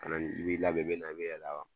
Kana ni i b'i labɛn i bina i be yɛlɛn a kan